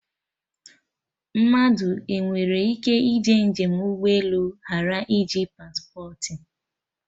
Mmadụ enwere ịke ije njem ụgbọ elu ghara iji paspportị?